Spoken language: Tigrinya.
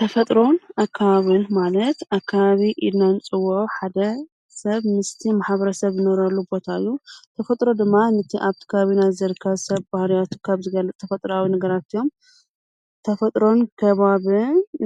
ተፈጥሮን ኣካብን ማለት ኣካባቢ ኢልና ንጽዎ ሓደ ሰብ ምስቲ መሓብረ ሰብ ይነረሉ ቦታእዩ ተፈጥሮ ድማ ነቲ ኣብቲ ካቢናዘርካ ሰብ ባህርያቱ ካብ ዝገል ተፈጥራዊ ነገራት እዮም ተፈጥሮን ከባብ